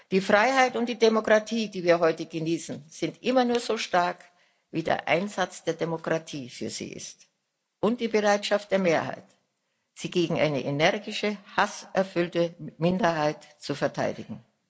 Die Freiheit und die Demokratie, die wir heute genießen, sind immer nur so stark wie der Einsatz der Demokraten für sie und die Bereitschaft der Mehrheit, sie gegen eine energische, hasserfüllte Minderheit zu verteidigen.